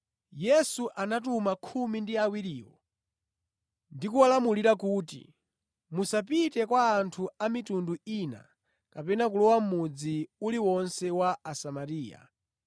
Yesu anatuma khumi ndi awiriwo ndi kuwalamula kuti, “Musapite kwa anthu a mitundu ina kapena kulowa mʼmudzi uliwonse wa Asamariya.